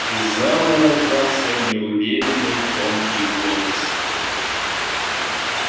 из зала раздался неуверенный тонкий голос